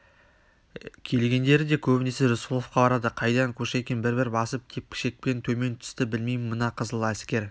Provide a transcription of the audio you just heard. келгендері де көбінесе рысқұловқа барады қайдан кушекин бір-бір басып тепкішекпен төмен түсті білмеймін мына қызыләскер